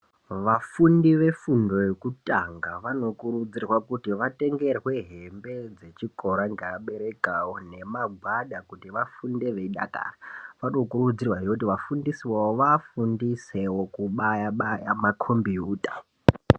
Vafundi vefundo yekutanga vanokurudzirwa kuti vatengerwe hembe dzechikora ngevabereki awo nemagwada kuti vafunde veidakara. Vanokurudzirwahe kuti vafundisi vavo vavafundisewo kubaya baya makombiyuta.